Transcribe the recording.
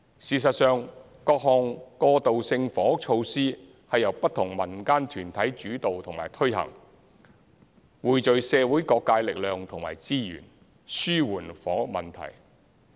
事實上，各項過渡性房屋措施是由不同民間團體主導和推行，匯聚社會各界力量和資源，紓緩房屋問題。